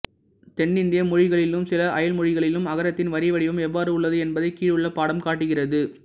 தென்னிந்திய மொழிகளிலும் சில அயல் மொழிகளிலும் அகரத்தின் வரிவடிவம் எவ்வாறு உள்ளது என்பதைக் கீழுள்ள படம் காட்டுகிறது